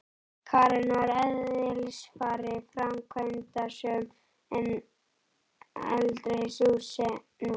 Karen var að eðlisfari framkvæmdasöm en aldrei sem nú.